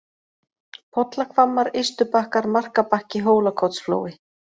Pollahvammar, Ystubakkar, Marka-Bakki, Hólakotsflói